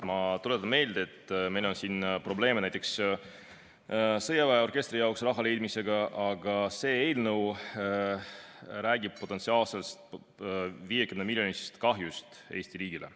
Ma tuletan meelde, et meil on siin probleeme näiteks sõjaväeorkestri jaoks raha leidmisega, aga see eelnõu räägib potentsiaalsest 50‑miljonilisest kahjust Eesti riigile.